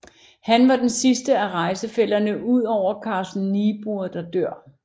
Han var den sidste af rejsefællerne udover Carsten Niebuhr der dør